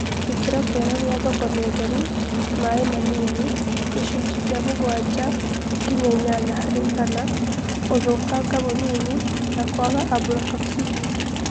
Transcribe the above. Gĩkĩro kiega gĩathoko ni ũtheru, maĩ manini( gicunjĩ kia mũgwanja nginya ĩnana harĩigana),ũthũkanga mũnini na kwaga ablotoxini.